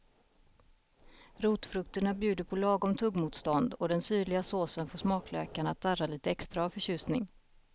Rotfrukterna bjuder på lagom tuggmotstånd och den syrliga såsen får smaklökarna att darra lite extra av förtjusning.